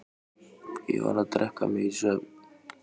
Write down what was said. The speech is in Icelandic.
Ég varð að drekka mig í svefn.